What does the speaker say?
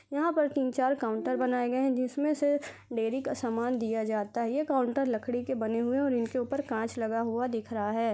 यहाँ पर तीन चार काउंटर बनाए गए है जिसमें से लेडी का सामान दिया जाता है ये काउंटर लकड़ी के बने हुए हैऔर इनका ऊपर कांच लगा हुआ दिख रहा हैं ।